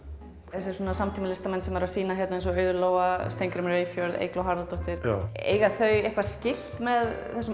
þessir samtímalistamenn sem eru að sýna hér eins og Auður Lóa Steingrímur Eyfjörð og Eygló Harðardóttir eiga þau eitthvað skylt með þessum